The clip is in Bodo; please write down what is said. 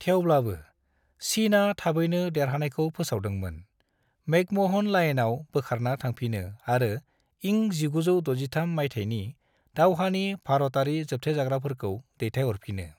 थेवब्लाबो, चीनआ थाबैनो देरहानायखौ फोसावदोंमोन, मैकमोहन लाइनआव बोखारना थांफिनो आरो इं 1963 माइथायनि दावहानि भारतयारि जोबथेजाग्राफोरखौ दैथायहरफिनो।